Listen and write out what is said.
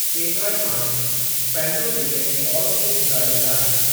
केतिराई माण्हू पंहिंजो वीकेंड फॉल्स ते गुज़ारींदा आहिनि।